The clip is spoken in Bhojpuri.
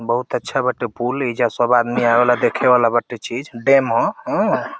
बहुत अच्छा बाटे पुल एइजा सब आदमी आवे ला देखे वाला बाटे चीज डेम ह अ।